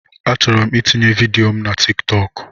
Achọrọ m itinye vidịo mụ na Tịk Tọkụ